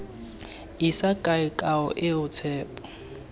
isa kae kao eo tshepo